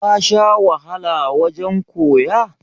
ka Sha wahala wajen koya?